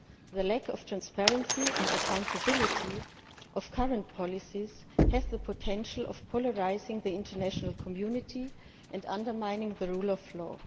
The lack of transparency and accountability of current policies has the potential to polarise the international community and to undermine the rule of law.